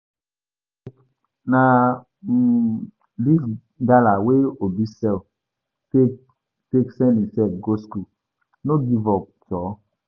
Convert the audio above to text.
See o na um dis gala wey Obi sell take take send himsef go skool, no give up joor.